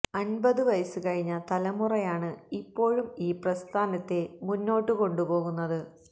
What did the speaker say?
അന്പത് വയസ്സ് കഴിഞ്ഞ തലമുറയാണ് ഇപ്പോഴും ഈ പ്രസ്ഥാനത്തെ മുന്നോട്ട് കൊണ്ടുപോകുന്നത്